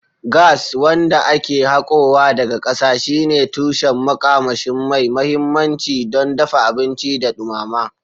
Gas, wanda ake hakowa daga ƙasa, shine tushen makamashi mai mahimmanci don dafa abinci da dumama.